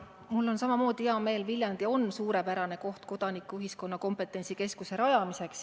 Mul on samamoodi hea meel, Viljandi on suurepärane koht kodanikuühiskonna kompetentsikeskuse rajamiseks.